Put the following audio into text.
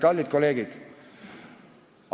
Kallid kolleegid!